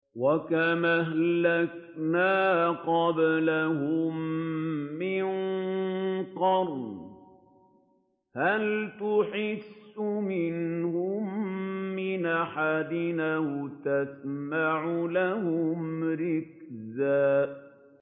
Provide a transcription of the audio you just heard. وَكَمْ أَهْلَكْنَا قَبْلَهُم مِّن قَرْنٍ هَلْ تُحِسُّ مِنْهُم مِّنْ أَحَدٍ أَوْ تَسْمَعُ لَهُمْ رِكْزًا